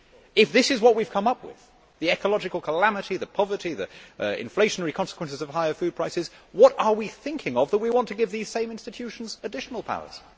If this is what we have come up with the ecological calamity, the poverty, the inflationary consequences of higher food prices what are we thinking of if we want to give these same institutions additional powers?